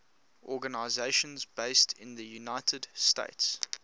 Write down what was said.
organizations based in the united states